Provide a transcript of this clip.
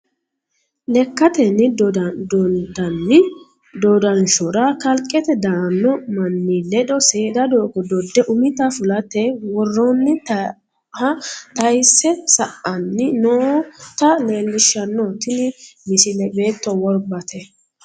Lekkatenni dondanni dodanshora kalqete daano manni ledo seeda doogo dode umitta fulate woronniha tayse sa"anni nootta leelishano tini misile beetto worbate.